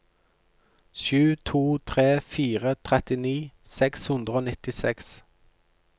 sju to tre fire trettini seks hundre og nittiseks